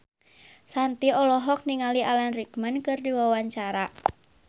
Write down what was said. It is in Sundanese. Shanti olohok ningali Alan Rickman keur diwawancara